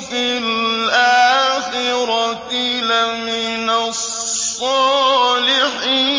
فِي الْآخِرَةِ لَمِنَ الصَّالِحِينَ